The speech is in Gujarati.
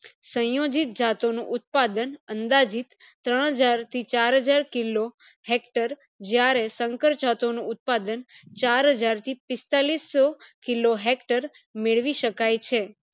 સંયોજિત જાતો નો ઉત્પાદન અંદાજીત ત્રણ હજાર થી ચાર હજાર kilo hector જયારે સંકર જતો નો ઉત્પાદન ચાર હજાર થી પીસ્તાલીસ્સો kilo hector r મેળવી શકાય છે